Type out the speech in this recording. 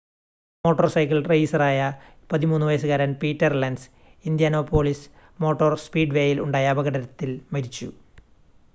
motor cycle റെയിസറായ 13 വയസ്സുകാരൻ Peter Lenz Indianapolis motor സ്പീഡ്‌വേയിൽ ഉണ്ടായ അപകടത്തിൽ മരിച്ചു